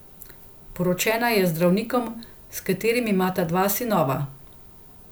Poročena je z zdravnikom, s katerim imata dva sinova.